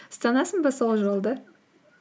ұстанасың ба сол жолды